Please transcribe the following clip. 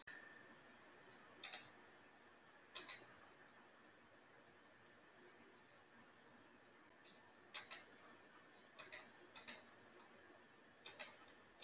Magnús Hlynur Hreiðarsson: Margir sem munu fá atvinnu þarna?